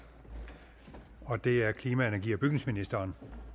og det er klima energi og bygningsministeren